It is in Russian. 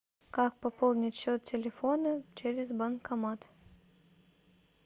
как пополнить счет телефона через банкомат